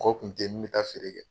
Ko kun tɛ ye min bɛ taa feere kɛ.